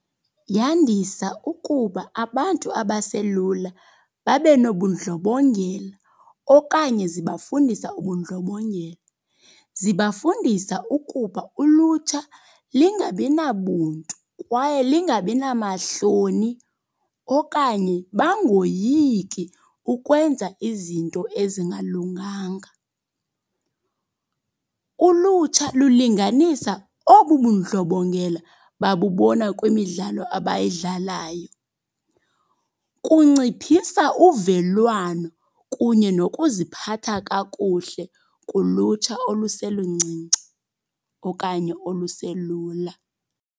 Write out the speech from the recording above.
Yandisa ukuba abantu abaselula babe nobundlobongela okanye zibafundisa ubundlobongela. Zibafundisa ukuba ulutsha lingabi nabuntu kwaye lingabi namahloni okanye bangoyiki ukwenza izinto ezingalunganga. Ulutsha lulinganisa obu bundlobongela babubona kwimidlalo abayidlalayo. Kunciphisa uvelwano kunye nokuziphatha kakuhle kulutsha oluseluncinci okanye oluselula.